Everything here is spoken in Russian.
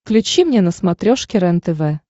включи мне на смотрешке рентв